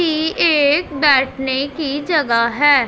ई एक बैठने की जगह है।